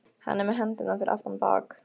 Hann er með hendurnar fyrir aftan bak.